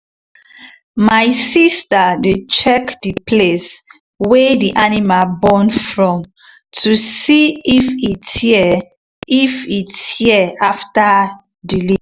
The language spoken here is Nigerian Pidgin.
my sister dey check the place wey the animal born from to see if e tear if e tear after delivery.